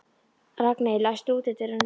Ragney, læstu útidyrunum.